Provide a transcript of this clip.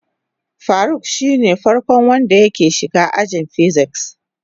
Faruk shine farko wanda yake shiga ajin "physics".